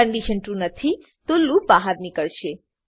condition true નથીતો loop બહાર નીકળશે